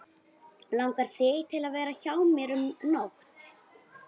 Langar þig til að vera hjá mér um nótt.